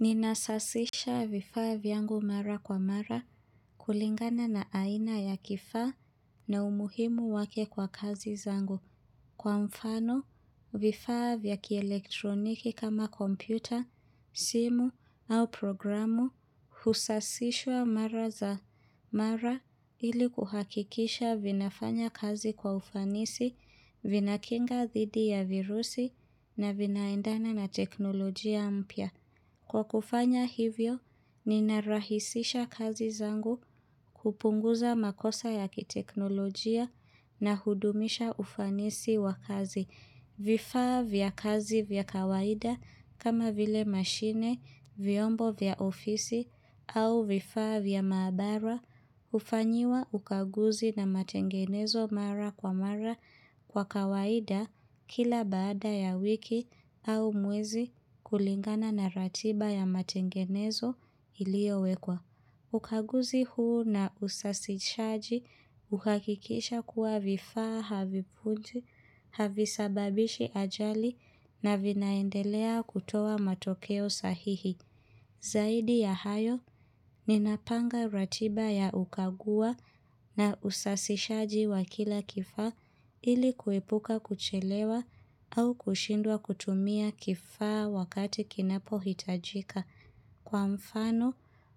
Ninasafisha vifaa vyangu mara kwa mara, kulingana na aina ya kifaa, na umuhimu wake kwa kazi zangu, kwa mfano vifaa vya kielektroniki kama kompyuta, simu, au programu husasishwa mara za mara, ili kuhakikisha vinafanya kazi kwa ufanisi, vinakinga dhidi ya virusi, na vinaendana na teknolojia mpya. Kwa kufanya hivyo, ninarahisisha kazi zangu, kupunguza makosa ya kiteknolojia, na hudumisha ufanisi wa kazi. Vifaa vya kazi vya kawaida, kama vile mashine vyombo vya ofisi, au vifaa vya maabara hufanyiwa ukaguzi na matengenezo mara kwa mara, kwa kawaida, kila baada ya wiki au mwezi, kulingana na ratiba ya matengenezo iliowekwa. Ukaguzi huu na usasishaji, hukakikisha kuwa vifaa, havipunji, havisababishi ajali, na vinaendelea kutoa matokeo sahihi. Zaidi ya hayo, ninapanga ratiba ya ukagua na usasishaji wa kila kifaa, ili kuepuka kuchelewa, au kushindwa kutumia kifa wakati kinapohitajika. Kwa mfano,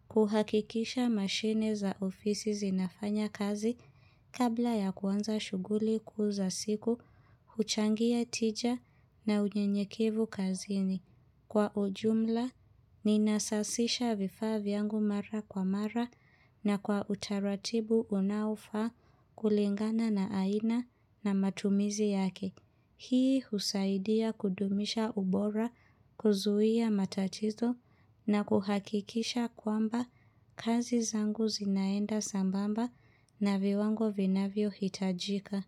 kuhakikisha mashine za ofisi zinafanya kazi, kabla ya kuanza shughuli kuuza siku, huchangia tija na unyenyekevu kazini. Kwa ujumla, ninasasisha vifa vyangu mara kwa mara, na kwa utaratibu unaofaa kulingana na aina na matumizi yake. Hii, husaidia kudumisha ubora, kuzuia matatizo, na kuhakikisha kwamba, kazi zangu zinaenda sambamba na viwango vinavyohitajika.